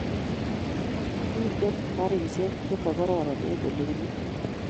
Kaginem garishek chemagororon eng ole kibunee